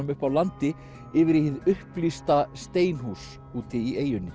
upp af landi yfir í hið upplýsta steinhús úti í eyjunni